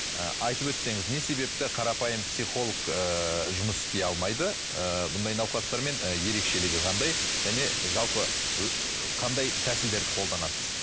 ы айтып өтсеңіз не себепті қарапайым психолог ы жұмыс істей алмайды ыыы бұндай науқастармен і ерекшелігі қандай және жалпы қандай тәсілдерді қолданасыз